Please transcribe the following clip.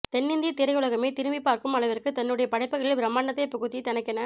தென்னிந்திய திரையுலகமே திரும்பிப் பார்க்கும் அளவிற்கு தன்னுடைய படைப்புகளில் பிரமாண்டத்தை புகுத்தி தனக்கென